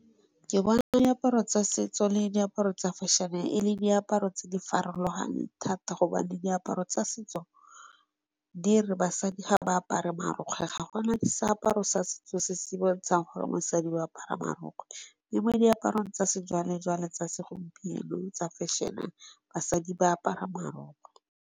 Ke bona diaparo tsa setso le diaparo tsa fešhene e le diaparo tse di farologaneng thata gobane diaparo tsa setso, di re basadi ga ba apare marokgwe ga gona seaparo sa setso se se bontshang gore mosadi o apara marokgwe. Le mo diaparo tsa se jwale jwale tsa se gompieno tsa fešhene basadi ba apara marokgwe.